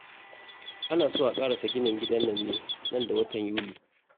Ana so a ƙarasa ginin gidan nan ne nan da watan Yuli